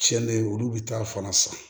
Tiɲɛnen olu bɛ taa fana san